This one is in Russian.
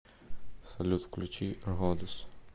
салют включи родес